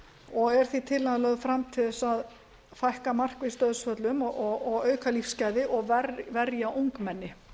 og er því tillagan lögð fram til þess að fækka markvisst dauðsföllum og auka lífsgæði og verja ungmenni